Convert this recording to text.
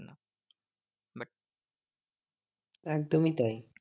একদমই তাই।